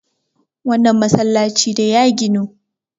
wannan masallaci ne ya ginu!